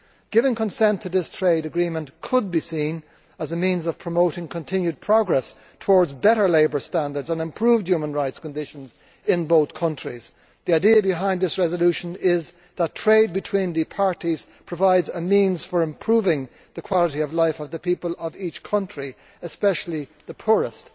Giving consent to this trade agreement could be seen as a means of promoting continued progress towards better labour standards and improved human rights conditions in both countries. The idea behind this resolution is that trade between the parties provides a means of improving the quality of life of the people of each country, especially the poorest.